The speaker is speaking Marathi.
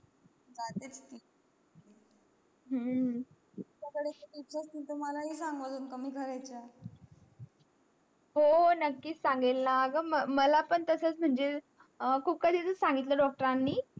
हम्म हो नकीच सांगीन ना आगा मग मालच तास सांगितलं होता doctor आन नि